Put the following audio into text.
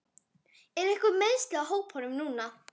Eru einhver meiðsli á hópnum núna?